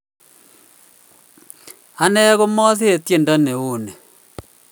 Anee komasirei tyendo neuni